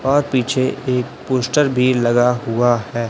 और पीछे एक पोस्टर भी लगा हुआ है।